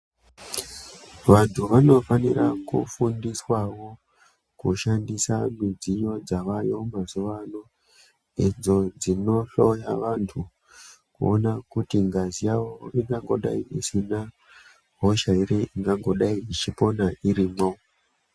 Vantu vanofanira kufundiswavo kushandisa midziyo dzavayo mazuva ano. Idzo dzinohloya vantu kuona kuti ngazi yavo ingangodai isina hosha ere ingangodai ichipona irimwo.